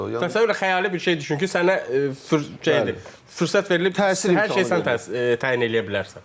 Təsəvvür elə xəyali bir şey düşün ki, sənə fürsət verilib, hər şeyi sən təyin eləyə bilərsən.